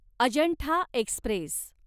Ajanta Express